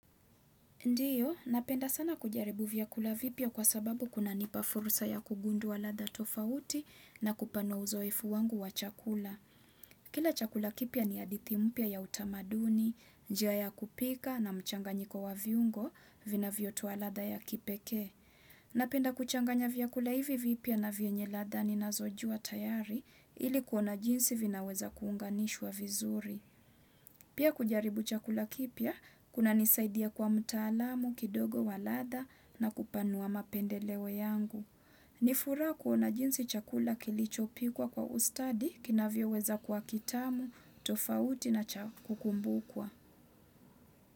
Ndiyo, napenda sana kujaribu vyakula vipya kwa sababu kunanipa furusa ya kugudua latha tofauti na kupanua uzoefu wangu wa chakula. Kila chakula kipya ni hadithi mpya ya utamaduni, jia ya kupika na mchanganyiko wa viungo vinavyotoa latha ya kipekee. Napenda kuchanganya vyakula hivi vipya na vyenye latha ninazojuwa tayari ili kuona jinsi vinaweza kuunganishwa vizuri. Pia kujaribu chakula kipya, kunanisaidia kwa mtaalamu, kidogo waladha na kupanua mapendeleo yangu. Nifuraha kuona jinsi chakula kilichopikwa kwa ustadi, kinavyoweza kwa kitamu, tofauti na cha kukumbukwa.